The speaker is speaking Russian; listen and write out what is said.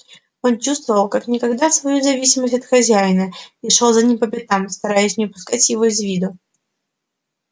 он чувствовал как никогда свою зависимость от хозяина и шёл за ним по пятам стараясь не упускать его из виду